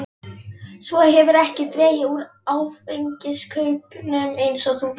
Svo hefurðu ekki dregið úr áfengiskaupunum eins og þú lofaðir.